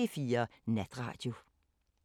05:03: P4 Natradio